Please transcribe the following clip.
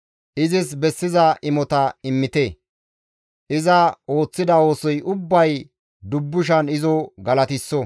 Izis bessiza imota immite; iza ooththida oosoy ubbay dubbushan izo galatisso.